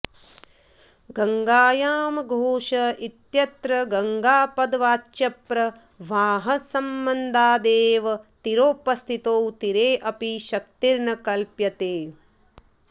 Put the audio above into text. गङ्गायां घोष इत्यत्र गङ्गापदवाच्यप्रवाहसंबन्धादेव तीरोपस्थितौ तीरेऽपि शक्तिर्न कल्प्यते